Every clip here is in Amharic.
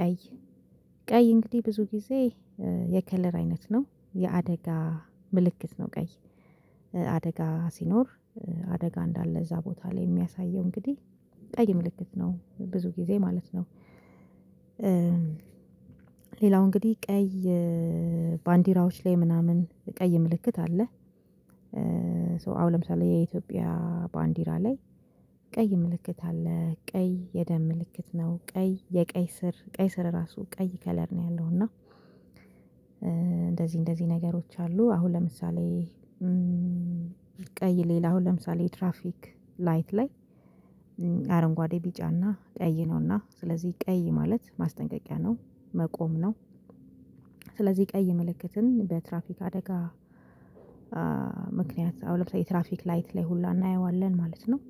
ቀይ ቀይ እንግዲህ ብዙ ጊዜ የከለር አይነት ነው የአደጋ ምልክት ነው ቀይ አደጋ ሲኖር አደጋ እንዳለ እዛ ቦታ ላይ እሚያሳየው እንግዲህ ቀይ ምልክት ነው ብዙ ጊዜ ማለት ነው። ሌላው እንግዲህ ቀይ ባንዲራዎች ላይ ምናምን ቀይ ምልክት አለ። አሁን ለምሳሌ የኢትዮጵያ ባንዲራ ላይ ቀይ ምልክት አለ ቀይ የደም ምልክት ነው ቀይ የቀይ ስር ቀይ ስር ራሱ ቀይ ከለር ነው ያለው እና እንደዚህ እንደዚህ ነገሮች አሉ። አሁን ለምሳሌ ቀይ ሌላው ለምሳሌ የትራፊክ ላይት ላይ አረንጓዴ ቢጫና ቀይ ነውና ስለዚህ ቀይ ማለት ማስጠንቀቂያ ነው መቆም ነው። ስለዚህ ቀይ ምልክትን በትራፊክ አደጋ ምክንያት አሁን ለምሳሌ ትራፊክ ላይት ላይ ሁላ እናየዋለን ማለት ነው።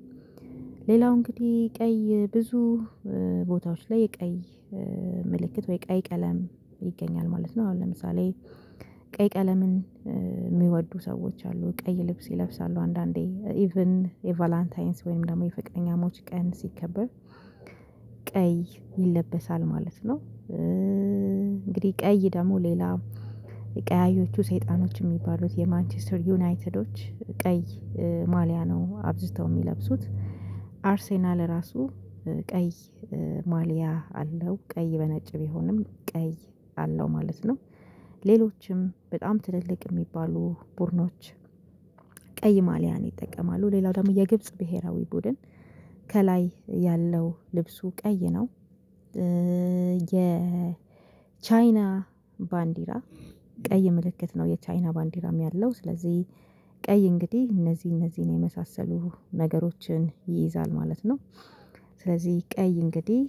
ሌላው እንግዲህ ቀይ ብዙ ቦታዎች ላይ የቀይ ምልክት ወይ ቀይ ቀለም ይገኛል ማለት ነው። አሁን ለምሳሌ ቀይ ቀለምን እሚወዱ ሰዎች አሉ ቀይ ልብስ ይለብሳሉ አንዳንዴ ኢቭን የቫላንታይንስ ወይም ደግሞ የፈቀረኛሞች ቀን ሲከበር ቀይ ይለበሳል ማለት ነው። እንግዲህ ቀይ ደግሞ ሌላ ቀያዮቹ ሰይጣኖች የሚባሉት የማንችስተር ዩናይትዶች ቀይ ማልያ ነው አብዝተው እሚለብሱት አርሴናል ራሱ ቀይ ማሊያ አለው ቀይ በነጭ ቢሆንም ቀይ አለው ማለት ነው። ሌሎችም በጣም ትልልቅ እሚባሉ ቡድኖች ቀይ ማልያን ይጠቀማሉ ሌላው ደግሞ የግብጽ ብሄራዊ ቡድን ከላይ ያለው ልብሱ ቀይ ነው። የቻይና ባንዲራ ቀይ ምልክት ነው የቻይና ባንዲራም ያለው ስለዚህ ቀይ እንግዲህ እነዚህ እነዚህን የመሳሰሉ ነገሮችን ይይዛል ማለት ነው። ስለዚህ ቀይ እንግዲህ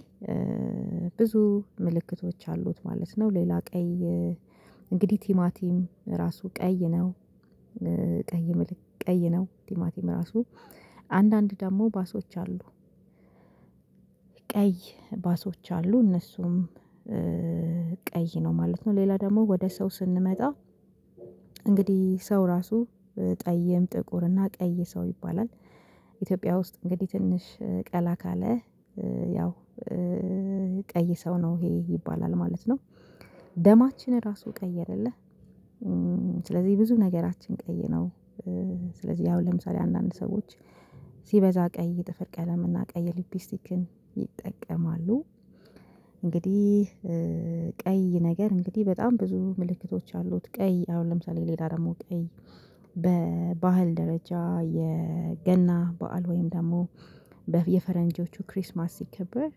ብዙ ምልክቶች አሉት ማለት ነው። ሌላ ቀይ እንግዲህ ቲማቲም ራሱ ቀይ ነው። ቀይ ምልክት ቀይ ነው ቲማቲም ራሱ አንዳንድ ደግሞ ባሶች አሉ ቀይ ባሶች አሉ እነሱም ቀይ ነው ማለት ነው። ሌላ ደግሞ ወደ ሰው ስንመጣ እንግዲህ ሰው ራሱ ጠይም ጥቁር እና ቀይ ሰው ይባላል ኢትዮጵያ ውስጥ እንግዲህ ትንሽ ቀላ ካለ ያው ቀይ ሰው ነው ይሄ ይባላል ማለት ነው። ደማችን ራሱ ቀይ አይደለ ስለዚህ ብዙ ነገራችን ቀይ ነው። ስለዚህ ያው ለምሳሌ አንዳንድ ሰዎች ሲበዛ ቀይ ጥፍር ቀለም እና ቀይ ሊፕስቲክን ይጠቀማሉ። እንግዲህ ቀይ ነገር እንግዲህ በጣም ብዙ ምልክቶች አሉት ቀይ አሁን ለምሳሌ ሌላ ደግሞ ቀይ በባህል ደረጃ የገና በዓል ወይም ደግሞ በየፈረንጆቹ ክሪስማስ ሲከብር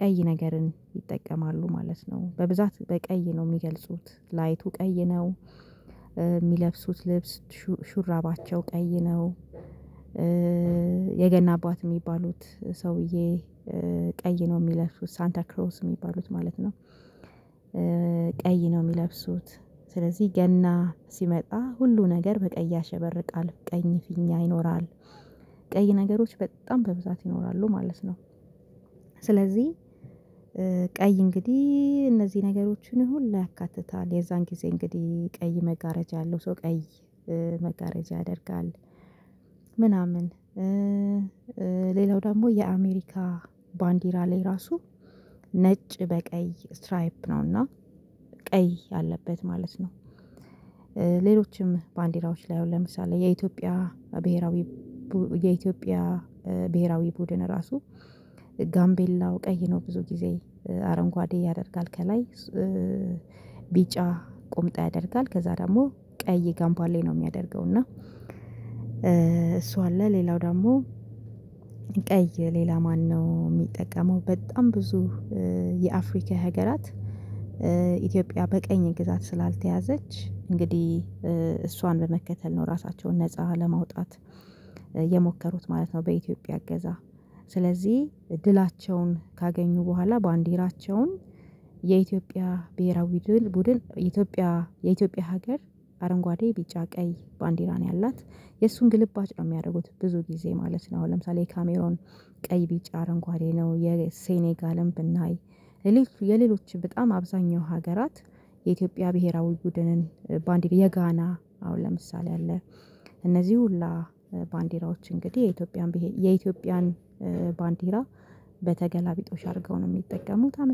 ቀይ ነገርን ይጠቀማሉ ማለት ነው። በብዛት በቀይ ነው እሚገልጹት ላይቱ ቀይ ነው እሚለብሱት ልብስ ሹራባቸው ቀይ ነው። የገና አባት እሚባሉት ሰውዬ ቀይ ነው እሚለብሱት ሳንታ ክሮስ እሚባሉት ማለት ነው። ቀይ ነው እሚለብሱት ስለዚህ ገና ሲመጣ ሁሉ ነገር በቀይ ያሸበርቃል ቀይ ፊኛ ይኖራል ቀይ ነገሮች በጣም በብዛት ይኖራሉ ማለት ነው። ስለዚህ ቀይ እንግዲህ እነዚህ ነገሮችን ሁሉ ያካትታል የዛን ጊዜ እንግዲህ ቀይ መጋረጃ ያለው ሰው ቀይ መጋረጃ ያደርጋል። ምናምን ሌላው ደግሞ የአሜሪካ ባንዲራ ላይ ራሱ ነጭ በቀይ ስትራይፕ ነውና ቀይ ያለበት ማለት ነው። ሌሎችም ባንዲራዎች ላይ ለምሳሌ የኢትዮጵያ ብሄራዊ ቡድን ራሱ ጋምቤላው ቀይ ነው ብዙ ጊዜ አረንጓዴ ያደርጋል ከላይ ቢጫ ቁምጣ ያደርጋል ከዛ ደግሞ ቀይ ጋምባሌ ነው እሚያደርገው እና። እሱ አለ ሌላው ደግሞ ቀይ ሌላ ማነው እሚጠቀመው በጣም ብዙ የአፍሪካ ሀገራት ኢትዮጵያ በቀኝ ግዛት ስላልተያዘች እንግዲህ እሷን በመከተል ነው ራሳቸውን ነፃ ለማውጣት የሞከሩት ማለት ነው። በኢትዮጵያ እገዛ ስለዚህ ድላቸውን ካገኙ በኋላ ባንዲራቸውን የኢትዮጵያ ብሄራዊ ቡድን የኢትዮጵያ የኢትዮጵያ ሀገር አረንጓዴ ቢጫ ቀይ ባንዲራ ነው ያላት የእሱን ግልባጭ ነው እሚያደርጉት ብዙ ጊዜ ማለት ነው። አሁን ለምሳሌ የካሜሮን ቀይ ቢጭ አረንጓዴ ነው የሴኔጋልም ብናይ የሌሎች በጣም አብዛኛው ሀገራት የኢትዮጵያ ብሄራዊ ቡድንን ባንዲራ የጋና አሁን ለምሳሌ አለ እነዚህ ሁሉ ባንዲራዎች እንግዲህ የኢትዮጵያን ባንዲራ በተገላቢጦሽ አድርገው ነው እሚጠቀሙት። አመሰግናለሁ